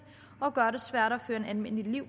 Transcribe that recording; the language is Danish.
og gøre det svært at føre et almindeligt liv